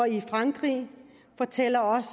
i frankrig fortæller også